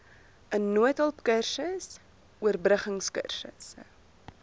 n noodhulpkursus oorbruggingkursusse